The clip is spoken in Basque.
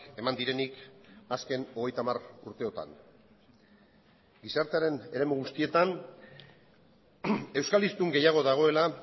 eman direnik azken hogeita hamar urteotan gizartearen eremu guztietan euskal hiztun gehiago dagoela